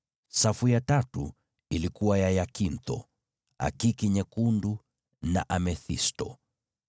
safu ya tatu ilikuwa na hiakintho, akiki nyekundu na amethisto;